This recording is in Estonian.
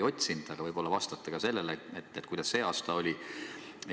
Aga ehk vastate ka sellele, kuidas see aasta oli?